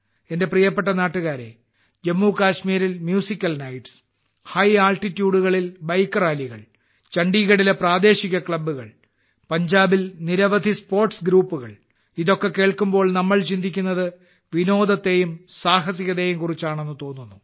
എന്റെ പ്രിയപ്പെട്ട നാട്ടുകാരേ ജമ്മു കശ്മീരിൽ മ്യൂസിക്കൽ നൈറ്റ്സ്ഉയർന്ന പ്രദേശങ്ങളിൽ ബൈക്ക് റാലികൾ ചണ്ഡീഗഢിലെ പ്രാദേശിക ക്ലബ്ബുകൾ പഞ്ചാബിൽ നിരവധി സ്പോർട്സ് ഗ്രൂപ്പുകൾ എന്നൊക്കെ കേൾക്കുമ്പോൾ നമ്മൾ ചിന്തിക്കുന്നത് വിനോദത്തെയും സാഹസികതയെയും കുറിച്ചാണെന്ന് തോന്നുന്നു